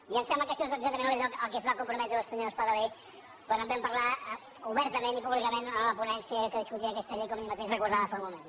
i em sembla que això és exactament allò a què es va comprometre el senyor espadaler quan en vam parlar obertament i públicament en la ponència que discutia aquesta llei com ell mateix recordava fa un moment